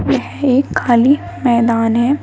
यह एक खाली मैदान है।